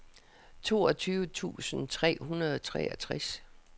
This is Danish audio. toogtyve tusind tre hundrede og treogtres